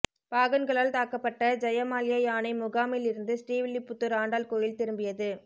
பாகன்களால் தாக்கப்பட்ட ஜெயமால்யா யானை முகாமில் இருந்து ஸ்ரீவில்லிபுத்தூர் ஆண்டாள் கோயில் திரும்பியது